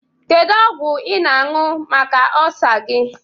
Kedu ọgwu ị na-añyu maka ọlsa gi?